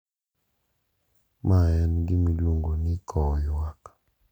Ma en gima iluongo ni kowo yuak.